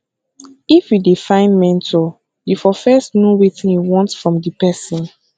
if you dey find mentor you fo first know wetin you want from di person